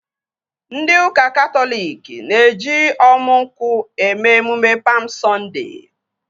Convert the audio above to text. Ndị ụka Katọlik na-eji ọmu nkwụ eme emume Pam Sọnde